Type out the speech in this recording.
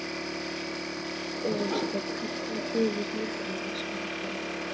Elísabet: Hvernig hefur helgin annars farið fram?